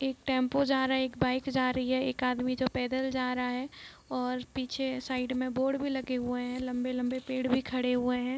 एक टैम्पू जा रहा है बाइक जा रहा है एक आदमी जो पैदल जा रहा है और पीछे साइड में बोर्ड भी लगे हुए हैं लम्बे-लम्बे पेड़ भी खड़े हुए है।